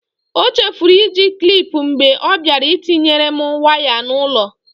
O chefuru iji klip mgbe ọ bịara ịtinyere m waya n'ụlọ.